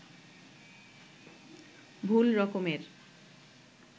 ভুল রকমের